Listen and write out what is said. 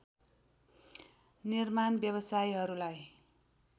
निर्माण व्यवसायीहरूलाई